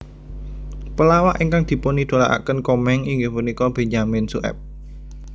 Pelawak ingkang dipunidolakaken Komeng inggih punika Benyamin Sueb